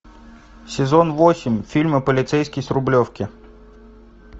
сезон восемь фильма полицейский с рублевки